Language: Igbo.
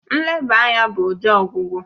Nleba anya bụ ụdị ọgwụgwọ